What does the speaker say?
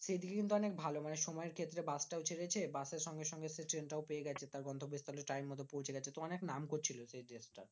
সেই দিকে কিন্তু অনেক ভালো মানে সময়ের ক্ষেত্রে বাসটাও ছেড়েছে বাসের সঙ্গে সঙ্গে সে ট্রেনটাও পেয়ে গেছে। তার গন্তব্যস্থলে time মতো পৌঁছে গেছে। তো অনেক নাম করছিলো সেই দেশটার।